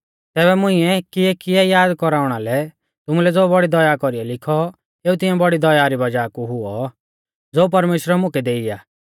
तैबै मुंइऐ किऐकिऐ याद कौराउणा लै तुमुलै ज़ो बौड़ी दया कौरीयौ लिखौ एऊ तिऐं बौड़ी दया री वज़ाह कु हुऔ ज़ो परमेश्‍वरै मुकै देई आ